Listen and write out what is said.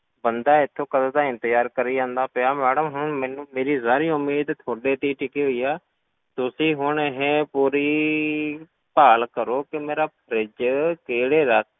ਬੰਦਾ ਇੱਥੋਂ ਕਦੋਂ ਦਾ ਇੰਤਜ਼ਾਰ ਕਰੀ ਜਾਂਦਾ ਪਿਆ madam ਹੁਣ ਮੈਨੂੰ ਮੇਰੀ ਸਾਰੀ ਉਮੀਦ ਤੁਹਾਡੇ ਤੇ ਹੀ ਟਿੱਕੀ ਹੋਈ ਹੈ, ਤੁਸੀਂ ਹੁਣ ਇਹ ਪੂਰੀ, ਭਾਲ ਕਰੋ ਕਿ ਮੇਰਾ fridge ਕਿਹੜੇ ਰ~